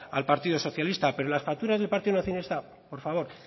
al partido socialista pero las facturas del partido nacionalista por favor